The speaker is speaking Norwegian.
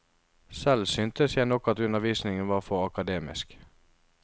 Selv syntes jeg nok at undervisningen var for akademisk.